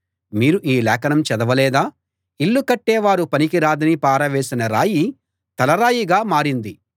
మీరు ఈ లేఖనం చదవలేదా ఇల్లు కట్టేవారు పనికి రాదని పారవేసిన రాయి తలరాయిగా మారింది